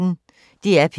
DR P1